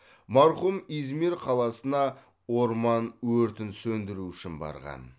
марқұм измир қаласына орман өртін сөндіру үшін барған